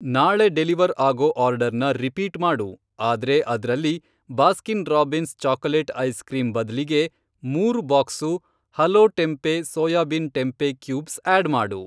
ನಾಳೆ ಡೆಲಿವರ್ ಆಗೋ ಆರ್ಡರ್ನ ರಿಪೀಟ್ ಮಾಡು, ಆದ್ರೆ ಅದ್ರಲ್ಲಿ ಬಾಸ್ಕಿನ್ ರಾಬಿನ್ಸ್ ಚಾಕೊಲೇಟ್ ಐಸ್ಕ್ರೀಂ ಬದ್ಲಿಗೆ ಮೂರು box Hello tempeh soybean tempeh cubes add ಮಾಡು.